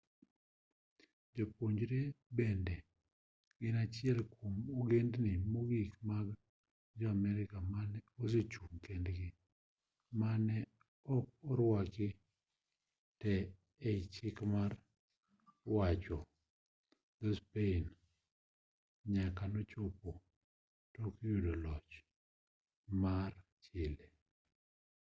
jo-mapuche bende ne gin achiel kwom ogendni mogik mag jo-amerka mane ochung' kendgi mane ok orwaki te ei chik mar wacho dho-spain nyaka nochopo tok yudo loch mar chile